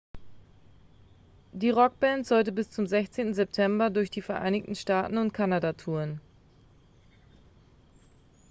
die rockband sollte bis zum 16. september durch die vereinigten staaten und kanada touren